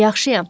Yaxşıyam.